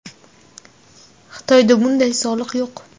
Xitoyda bunday soliq yo‘q.